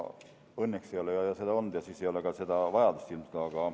Õnneks ei ole neid juhtumeid rohkem olnud ja nii ei ole ka selle seaduse järele vajadust ilmselt olnud.